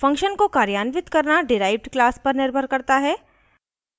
function को कार्यान्वित करना derived class पर निर्भर करता है